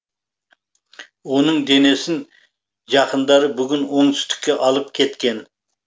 оның денесін жақындары бүгін оңтүстікке алып кеткен